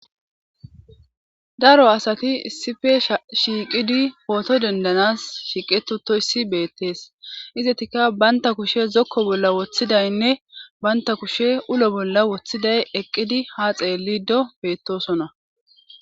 Daro asati issife shiiqidi pooto dendanas shiiqetutoyssi beettees izetikka baynta kushe zokko bolla woththidaynne baynta kushe ulo bolla woththiday eqqidi ha xeellido beettosona.